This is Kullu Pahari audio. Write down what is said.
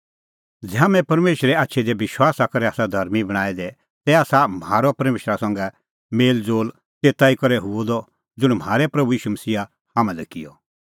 ज़ै हाम्हैं परमेशरे आछी दी विश्वासा करै आसा धर्मीं बणांऐं दै तै आसा म्हारअ परमेशरा संघै मेल़ज़ोल़ तेता करै हुअ द ज़ुंण म्हारै प्रभू ईशू मसीहा हाम्हां लै किअ